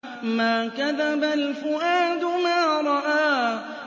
مَا كَذَبَ الْفُؤَادُ مَا رَأَىٰ